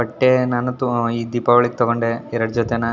ಬಟ್ಟೆ ನಾನಂತು ಎರಡು ಜೊತೆ ತಗೊಂಡೆ ಈ ದೀಪಾವಳಿಗೆ --